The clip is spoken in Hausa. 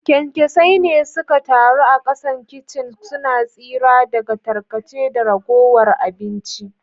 kyankyasai ne suka taru a kasan kicin, suna tsira daga tarkace da ragowar abinci.